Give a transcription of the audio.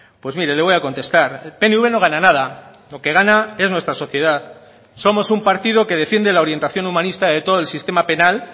pues mire le voy a contestar el pnv no gana nada lo que gana es nuestra sociedad somos un partido que defiende la orientación humanista de todo el sistema penal